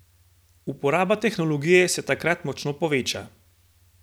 Uporaba tehnologije se takrat močno poveča!